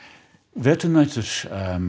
veturnætur